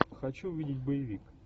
хочу увидеть боевик